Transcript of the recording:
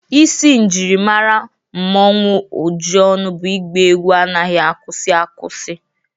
Isi njirimara Mmanwu Ojionu bụ ịgba egwu anaghị akwụsị akwụsị